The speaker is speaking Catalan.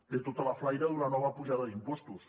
té tota la flaire d’una nova apujada d’impostos